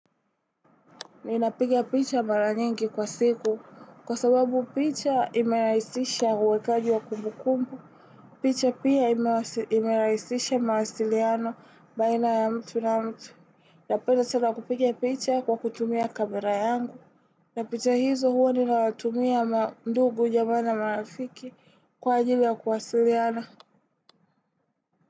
Ninapiga picha mara nyingi kwa siku kwa sababu picha imerahisisha uwekaji wa kumbu kumbu. Picha pia imerahisisha mahasiliano baina ya mtu na mtu. Napenda sana kupiga picha kwa kutumia kamera yangu. Na picha hizo huo ninawatumia mandugu jamaana marafiki kwa ajili ya kuasiliano.